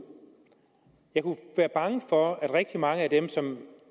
jeg kunne være bange for at rigtig mange af dem som